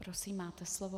Prosím, máte slovo.